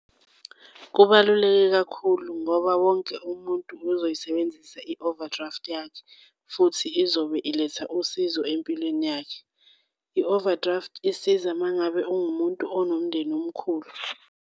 Kubaluleke kakhulu ngoba wonke umuntu uzoyisebenzisa i-overdraft yakhe, futhi izobe iletha usizo empilweni yakhe. I-overdraft isiza uma ngabe uwumuntu onomndeni omkhulu.